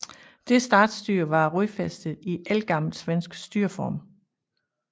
Det statsstyre var rodfæstet i ældgammel svensk styreform